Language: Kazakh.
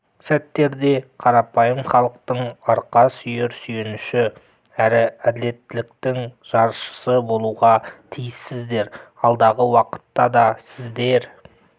сәттерде қарапайым халықтың арқа сүйер сүйеніші әрі әділеттіліктің жаршысы болуға тиіссіздер алдағы уақытта да сіздер